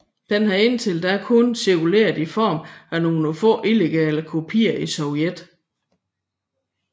Den havde indtil da kun cirkuleret i form af nogle få illegale kopier i Sovjet